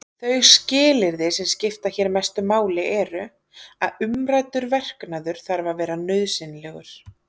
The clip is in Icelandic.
Þau skilyrði sem skipta hér mestu máli eru: að umræddur verknaður þarf að vera nauðsynlegur.